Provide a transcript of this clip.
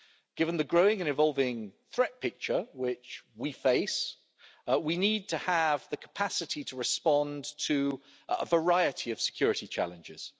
Given the growing and evolving threat picture which we face, we need to have the capacity to respond to a variety of security challenges.